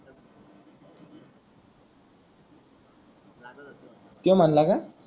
तोय म्हणाला का